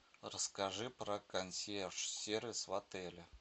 расскажи про консьерж сервис в отеле